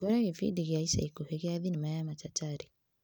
Ngore gĩbindi gĩa ica ikuhĩ gĩa thinema ya machacharĩ.